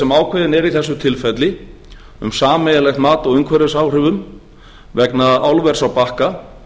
sem ákveðin er í þessu tilfelli um sameiginlegt mat á umhverfisáhrifum vegna álvers á bakka